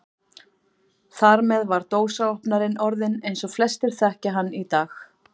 Þar með var dósaopnarinn orðinn eins og flestir þekkja hann í dag.